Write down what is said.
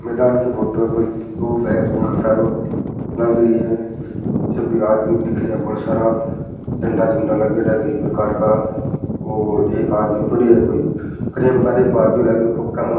मैदान की फोटो है कोई ग्रुप है बहुत सारो लाग री है पीछे भी आदमी दिखे है बड़ा सारा झंडा झुन्डा लगेड़ा है कई प्रकार का और एक आदमी पड़यो है कोई क्रैम्प आ गयो पग के मा --